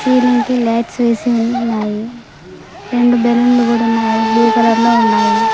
Ceiling కి lights వేసి ఉన్నాయి రెండు బెలూన్లు కూడున్నాయి అవి బ్లూ కలర్లో ఉన్నాయి.